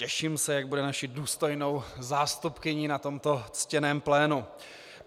Těším se, jak bude naší důstojnou zástupkyní na tomto ctěném plénu.